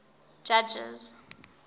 judges